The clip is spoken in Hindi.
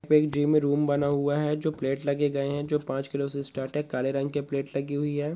एक जिम में रूम बना हुआ है जो प्लेट लगे गए है जो पांच किलो से स्टार्ट है काले रंग के प्लेट लगी हुई है।